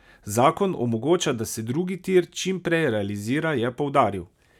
Zakon omogoča, da se drugi tir čim prej realizira, je poudaril.